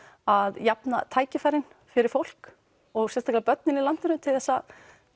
að jafna tækifærin fyrir fólk og sérstaklega börnin í landinu til þess að